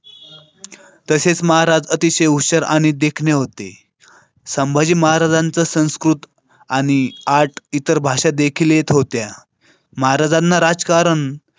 तसेच महाराज अतिशय हुशार आणि देखणे होते. संभाजी महाराजांचा संस्कृत आणि आठ इतर भाषा देखील येत होत्या. महाराजांना राजकारण.